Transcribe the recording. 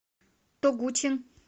тогучин